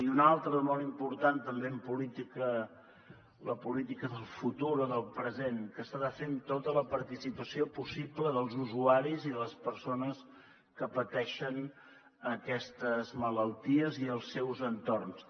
i una altra de molt important també en la política del futur o del present que s’ha de fer amb tota la participació possible dels usuaris i de les persones que pateixen aquestes malalties i els seus entorns